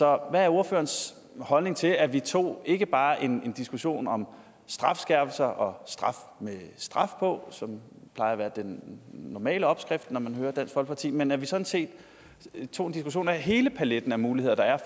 er ordførerens holdning til at vi tog ikke bare en diskussion om strafskærpelser og straf med straf på som plejer at være den normale opskrift når man hører dansk folkeparti men at vi sådan set tog en diskussion om hele paletten af muligheder der er